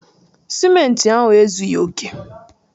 Simenti ahụ ezughi oke